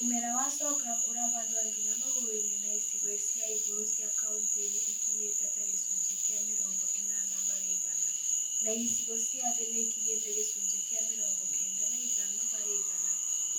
Mumera wa Sorghum u͂rahandwo nginya magu͂ru͂-ini͂ na icigo cia igu͂ru͂ cia kaunti ni͂ ikinyi͂tie ta gi͂cunji͂ ki͂a mi͂rongo i͂nana hari͂ igana, na icigo cia thi ni ikinyi͂tie gi͂cunji͂ ki͂a mi͂rongo kenda na i͂tano hari͂ igana